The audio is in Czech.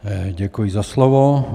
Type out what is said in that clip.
Děkuji za slovo.